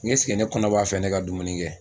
ne kɔnɔ b'a fɛ, ne ka dumuni kɛ